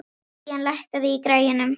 Ían, lækkaðu í græjunum.